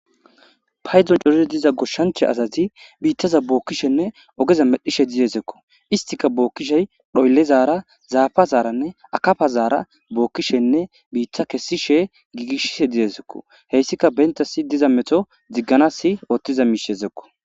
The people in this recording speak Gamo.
Paydon coree diza goshshancha azazi biittaza bookkishenne ogeza medhishe didezekko istika bookkishey dhoyllezaara zaafa zaaranne akafazaara bookkishenne biitta kessishe giigishishe didezekko heyssika bentasi diza meto zigganasi oothtiza miishezekko